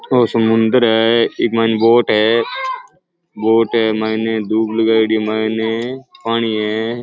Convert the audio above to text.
ओ समुन्दर है इक मायने बोट है बोट है मायने दूब लगाएडी है मायने पानी है।